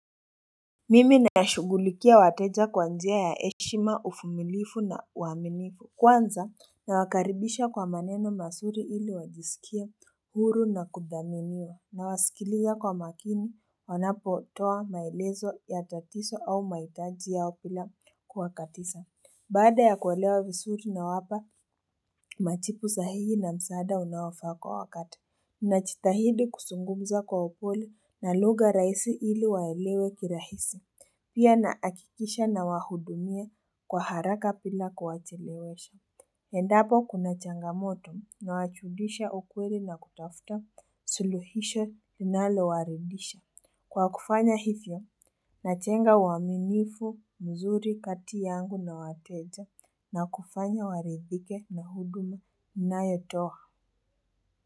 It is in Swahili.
Mimi nashughulikia wateja kwa njia ya heshima uvumilifu na uaminifu Kwanza na wakaribisha kwa maneno mazuri ili wajisikie huru na kudhaminiwa nawasikiliza kwa makini wanapotoa maelezo ya tatizo au mahitaji yao bila kuwakatiza Baada ya kuelewa vizuri na wapa majibu sahihi na msaada unaofaa kwa wakati najitahidi kuzungumza kwa upole na lugha rahisi ili waelewe kirahisi Pia nahakikisha na wahudumia kwa haraka bila kuwachelewesha. Endapo kuna changamoto na wajulisha ukweli na kutafuta suluhisho linalo waridhisha. Kwa kufanya hivyo, najenga uaminifu mzuri kati yangu na wateja na kufanya waridhike na huduma ninayotoa.